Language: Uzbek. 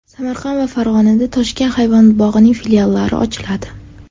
Samarqand va Farg‘onada Toshkent hayvonot bog‘ining filiallari ochiladi.